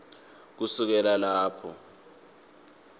kusukela lapho